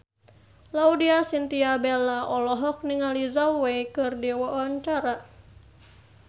Laudya Chintya Bella olohok ningali Zhao Wei keur diwawancara